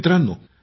मित्रांनो